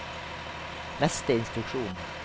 neste instruksjon